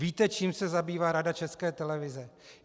Víte, čím se zabývá Rada České televize?